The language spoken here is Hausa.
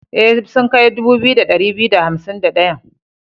E, sun kai dubu biyu da ɗari biyu da hansim da ɗayan.